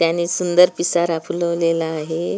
त्याने सुंदर पिसारा फुलवलेला आहे.